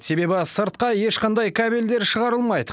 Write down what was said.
себебі сыртқа ешқандай кабельдер шығарылмайды